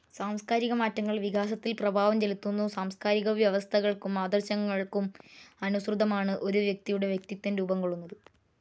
സാംസ്കാരിക മാറ്റങ്ങൾ വികാസത്തിൽ പ്രഭാവം ചെലുത്തുന്നു. സാംസ്കാരിക വ്യവസ്ഥകൾക്കും ആദർശങ്ങൾക്കും അനുസൃതമാണ് ഒരു വ്യക്തിയുടെ വ്യക്തിത്വം രൂപം കൊള്ളുന്നത്.